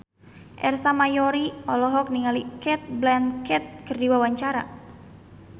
Ersa Mayori olohok ningali Cate Blanchett keur diwawancara